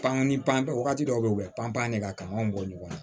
Pankani pan wagati dɔw bɛ yen u bɛ pan pan ne ka kanw bɔ ɲɔgɔn na